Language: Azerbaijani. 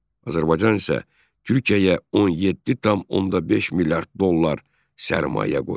Azərbaycan isə Türkiyəyə 17,5 milyard dollar sərmayə qoyub.